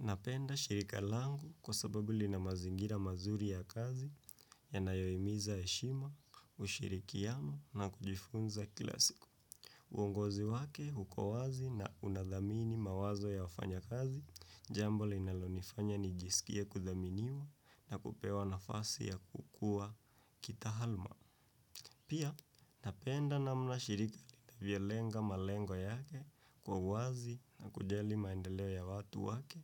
Napenda shirika langu kwa sababu lina mazingira mazuri ya kazi yanayohimiza heshima, ushirikiano na kujifunza kila siku. Uongozi wake uko wazi na unathamini mawazo ya wafanya kazi, jambo linalonifanya nijisikie kuthaminiwa na kupewa nafasi ya kukua kitaaluma. Pia, napenda namna shirika linavyolenga malengo yake kwa wazi na kujali maendeleo ya watu wake.